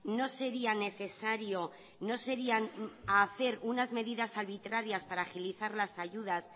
no sería necesario no sería hacer unas medidas arbitrarias para agilizar las ayudas